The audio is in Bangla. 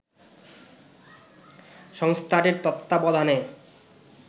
সংস্থাটির তত্ত্বাবধানে